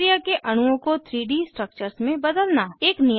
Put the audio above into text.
अभिक्रिया के अणुओं को 3 डी स्ट्रक्चर्स में बदलना